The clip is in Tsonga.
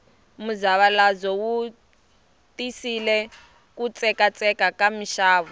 muzavalazo wu tisile ku tsekatseka ka mixavo